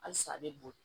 Halisa a bɛ boli